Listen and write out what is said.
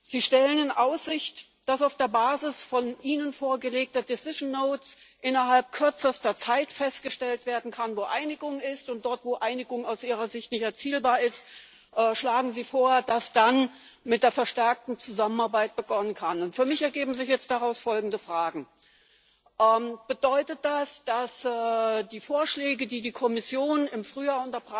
Sie stellen in Aussicht, dass auf der Basis von Ihnen vorgelegter decision notes innerhalb kürzester Zeit festgestellt werden kann, wo Einigung ist, und dort, wo Einigung aus Ihrer Sicht nicht erzielbar ist, schlagen Sie vor, dass dann mit der verstärkten Zusammenarbeit begonnen werden kann. Für mich ergeben sich daraus jetzt folgende Fragen Bedeutet das, dass Sie sich aus den Vorschlägen, die die Kommission im Frühjahr